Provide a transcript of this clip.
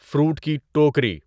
fruit کی ٹوکری